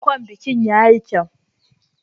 Ankon bikin ya yi kyau.